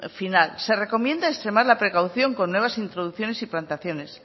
final se recomiendo extremar la precaución con nuevas introducciones y plantaciones